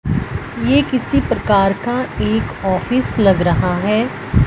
ये किसी प्रकार का एक ऑफिस लग रहा है।